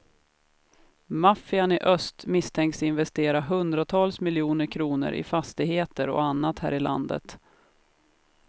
Maffian i öst misstänks investera hundratals miljoner kronor i fastigheter och annat här i landet.